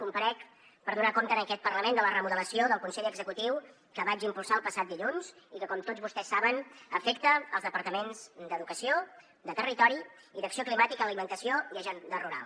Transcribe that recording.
comparec per donar compte en aquest parlament de la remodelació del consell executiu que vaig impulsar el passat dilluns i que com tots vostès saben afecta els departaments d’educació de territori i d’acció climàtica alimentació i agenda rural